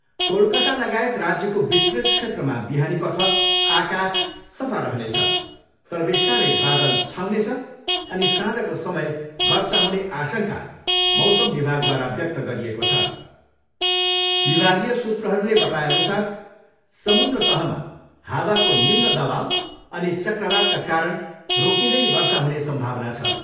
कोलकातालगायत राज्यको विस्तृत क्षेत्रमा बिहानीपख आकाश सफा रहनेछ तर बिस्तारै बादल छाउनेछ अनि साँझको समय वर्षा हुने आशङ्का मौसम विभागद्वारा व्यक्त गरिएको छ। विभगीय सूत्रहरूले बताएअनुसार समुन्द्र तहमा हावाको निम्न दवाउ अनि चक्रवातका कारण रोकिँदै वर्षा हुने सम्भावना छ।